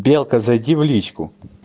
белка зайди в личку